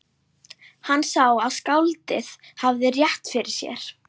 Hann sá að skáldið hafði rétt fyrir sér.